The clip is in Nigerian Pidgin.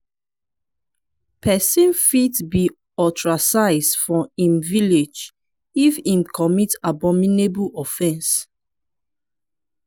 pesin fit be ostracize for im village if im commit abominable offense.